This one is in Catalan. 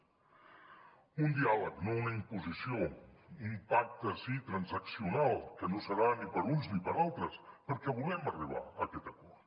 un diàleg no una imposició un pacte sí transaccional que no serà ni per uns ni per altres perquè volem arribar a aquests acord